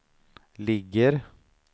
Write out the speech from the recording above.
ligger